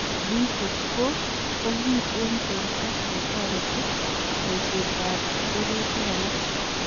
BH4 ko kiy en borto ne toreteti bosietab rirutik alak.